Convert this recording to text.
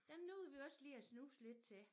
Den nåede vi også lige at snuse lidt til